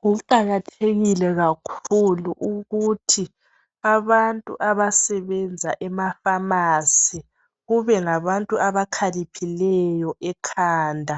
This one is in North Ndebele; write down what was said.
Kuqakathekile kakhulu ukuthi abantu abasebenza efamasi kube ngabantu abakhaliphileyo ekhanda